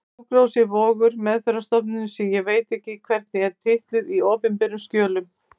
Sjúkrahúsið var Vogur, meðferðarstofnunin sem ég veit ekki hvernig er titluð í opinberum skjölum.